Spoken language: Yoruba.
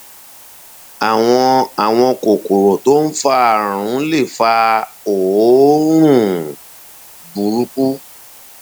àwọn àwọn kòkòrò tó ń fa àrùn lè fa òórùn burúkú